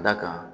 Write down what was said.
Da kan